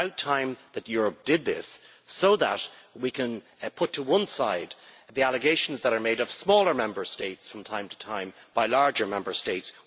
It is about time that Europe did this, so that we can put to one side the allegations that are made of smaller Member States from time to time by larger Member States.